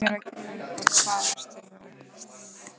Sem mér var gefinn og hvar ertu nú.